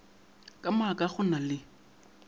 ka maaka go na le